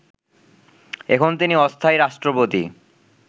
এখন তিনি অস্থায়ী রাষ্ট্রপতি